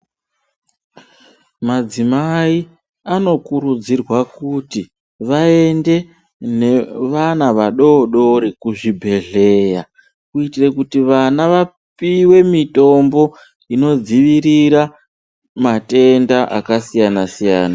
Madzimai anokurudzirwa kuti vaende nevana vadodori kuzvibhedhleya. Kuitire kuti vana vapive mitombo inodzivirira matenda akasiyana-siyana.